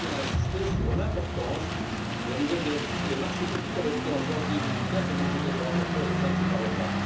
Je tiens à insister sur l'importance de la nouvelle directive sur les marchés publics adoptée en janvier 2004 et dont j'étais le rapporteur au sein de ce Parlement.